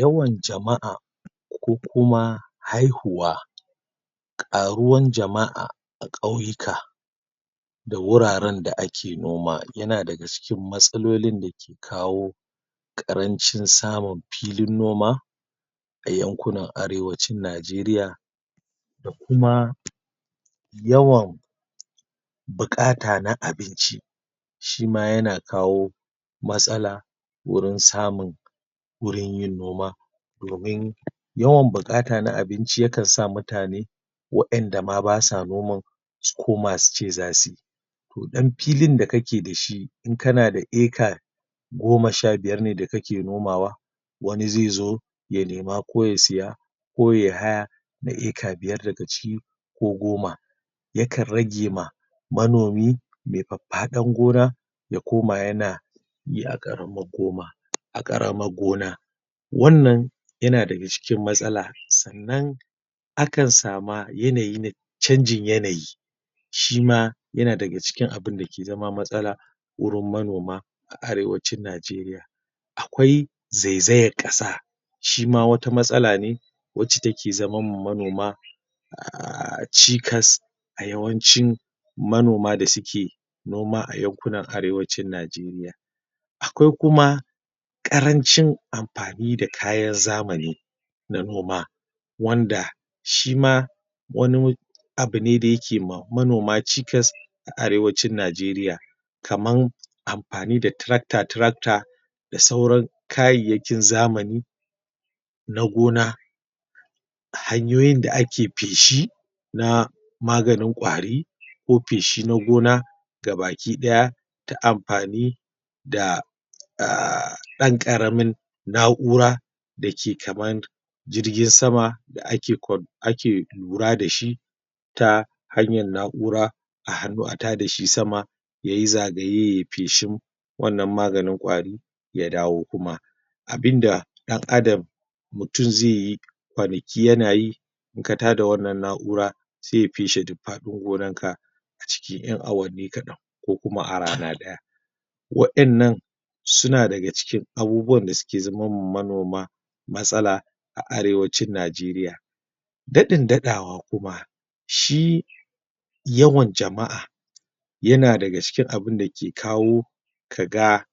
Yawan jama'a ko kuma haihuwa ƙaruwan jama'a a ƙauyuka da wuraren da ake noma yana daga cikin matsalolin da kawo ƙarancin samun filin noma a yankunan Arewacin Najeriya da kuma yawan buƙata na abinci shi ma yana kawo matsala wajen samun wurin yin noma domin yawan buƙata na abinci yakan sa mutane wa'inda ma ba sa noma su koma su ce za sui ko ɗan filin da kake da shi in kana da ecra goma sha biuyar ne da kake nomawa wani zai zo ya nema ko ya siya ko yai haya na ecra biyar daga ciki ko goma yakan rage ma manomi mai faffaɗan gona ya koma yana yi a ƙaramar gon a ƙaramar gona wannan yana daga cikin matsala sannan akan sama yanayi na canjin yanayi shi ma yana daga cikin abun da ke zama matsala wurin manoma a Arewacin Najeriya a kwai zaizayar ƙasa shi ma wata matsala ne wacce take zamar ma manoma a a cikas a yawancin manoma da suke noma ayankunan Arewacin Najeriya Akwai kuma ƙarancin amfani da kayan zamani na noma wanda shi ma wani abu ne da yake ma manoma cikasa aArewacin Najeriya Kamar amafani da tractor tractor da sauran kayayyakin zamani na gona hanyoyin da ake feshi na maganin ƙwari ko feshi na gona ga bakai ɗaya da amfani da ɗan ƙaramin na'ura da ke kamar jirgin sama da ake lura da shi ta hanyar na'ura a hannu a tada shi sama ya yi zagaye ya yi feshin wannan maganin ƙwari ya dawo kuma abin da ɗan'adam mutum zai yi kwanaki yana yi in ka tada wannan na'ura zai feshi duk faɗin gonanka acikin ƴan awanni kaɗan ko kuma a rana ɗaya wa'innan suna daga cikin abubuwan da suke zaman ma manoma matsala a Arewacin Najeriya daɗin daɗawa kuma shi yawan jama'a yana daga cikin abin da ke kawo ka ga